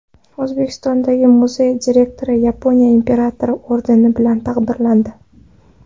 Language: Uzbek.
O‘zbekistondagi muzey direktori Yaponiya imperatori ordeni bilan taqdirlandi.